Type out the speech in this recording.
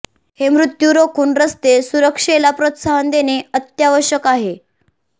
हे मृत्यु रोखून रस्ते सुरक्षेला प्रोत्साहन देणे अत्यावश्यक आहे